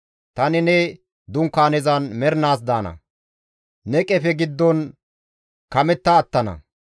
Tani ne Dunkaanezan mernaas daana; ne qefe giddon kametta attana.